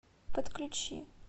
подключи